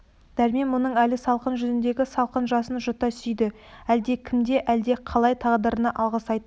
дәрмен мұның әлі салқын жүзіндегі салқын жасын жұта сүйді әлде кімге әлде қалай тағдырына алғыс айта